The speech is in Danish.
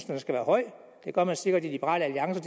den skal være høj det gør man sikkert i liberal alliance